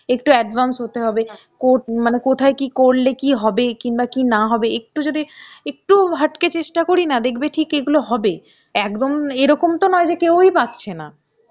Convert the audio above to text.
একটু advance হতে হবে , কোট মানে কোথায় কী করলে কী হবে কিংবা কী না হবে একটু যদি একটু হাটকে চেষ্টা করি না দেখবে ঠিক এগুলো হবে. একদম এরকম তো নয় যে কেউই পাচ্ছে না.